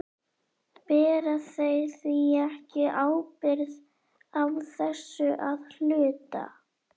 Bera þeir því ekki ábyrgð á þessu að hluta?